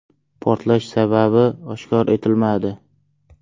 Portlash sababi oshkor etilmadi.